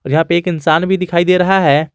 और यहां पे एक इंसान भी दिखाई दे रहा है।